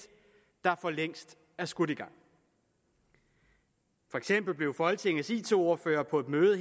der for længst er skudt i gang for eksempel blev folketingets it ordførere på et møde